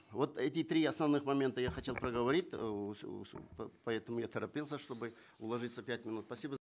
вот эти три основных момента я хотел проговорить поэтому я торопился чтобы уложиться в пять минут спасибо